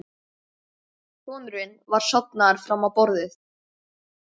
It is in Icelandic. Sonurinn var sofnaður fram á borðið.